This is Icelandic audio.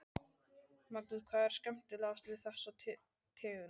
Magnús: Hvað er skemmtilegast við þessa tegund?